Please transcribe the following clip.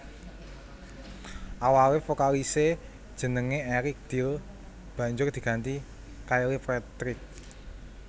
Awalé vokalisé jenengé Eric Dill banjur diganti Kyle Patrick